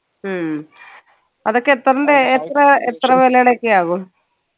ഉം അതൊക്കെ എത്രൻറെ എത്ര എത്ര വിലേടെക്കെ ആകും